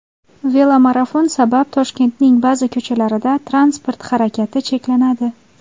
Velomarafon sabab Toshkentning ba’zi ko‘chalarida transport harakati cheklanadi.